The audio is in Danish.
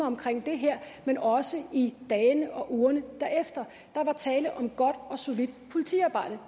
omkring det men også i dagene og ugerne derefter der var tale om godt og solidt politiarbejde